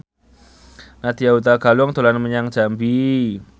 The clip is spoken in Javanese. Nadya Hutagalung dolan menyang Jambi